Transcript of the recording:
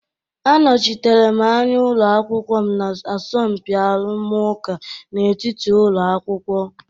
Anọchitere m anya ụlọ akwụkwọ m na asọmpi arụmụka n'etiti ụlọ akwụkwọ.